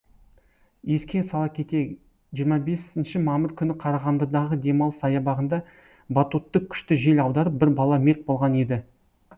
еске сала кетейік жиырма бесінші мамыр күні қарағандыдағы демалыс саябағында батутты күшті жел аударып бір бала мерт болған еді